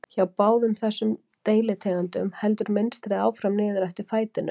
Hjá báðum þessum deilitegundum heldur mynstrið áfram niður eftir fætinum.